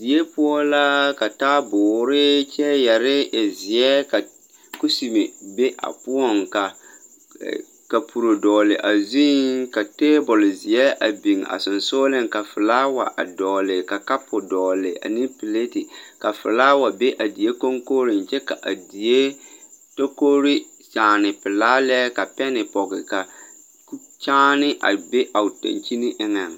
Die poɔ la ka taaboore kyɛɛyɛre e zeɛ ka kusime be a poɔŋ ka kapuro dɔgle a zuiŋ ka tabole zeɛ a biŋ a seŋsugliŋ ka flaawa a dɔgle ka kapu dɔgle ane pilate flaawa be a die koŋkogriŋ kyɛ ka a die tokore kyaane pelaa lɛ ka pɛne pɔge ka kyaane a be a dankyini eŋɛŋ.